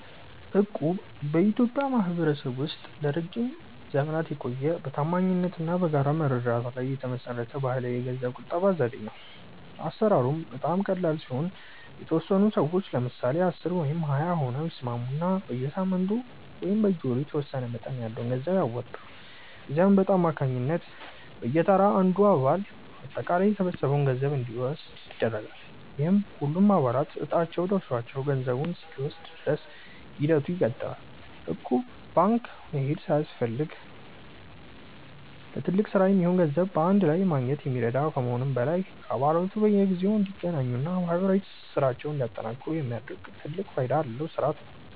እቁብ በኢትዮጵያ ማኅበረሰብ ውስጥ ለረጅም ዘመናት የቆየ፣ በታማኝነት እና በጋራ መረዳዳት ላይ የተመሠረተ ባሕላዊ የገንዘብ ቁጠባ ዘዴ ነው። አሠራሩም በጣም ቀላል ሲሆን፤ የተወሰኑ ሰዎች (ለምሳሌ 10 ወይም 20 ሆነው) ይስማሙና በየሳምንቱ ወይም በየወሩ የተወሰነ መጠን ያለው ገንዘብ ያዋጣሉ። ከዚያም በዕጣ አማካኝነት በየተራ አንዱ አባል አጠቃላይ የተሰበሰበውን ገንዘብ እንዲወስድ ይደረጋል፤ ይህም ሁሉም አባላት ዕጣቸው ደርሷቸው ገንዘቡን እስኪወስዱ ድረስ ሂደቱ ይቀጥላል። እቁብ ባንክ መሄድ ሳያስፈልግ ለትልቅ ሥራ የሚሆን ገንዘብ በአንድ ላይ ለማግኘት የሚረዳ ከመሆኑም በላይ፣ አባላቱ በየጊዜው እንዲገናኙና ማኅበራዊ ትስስራቸውን እንዲያጠናክሩ የሚያደርግ ትልቅ ፋይዳ ያለው ሥርዓት ነው።